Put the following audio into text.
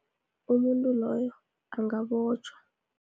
Umuntu loyo angabotjhwa.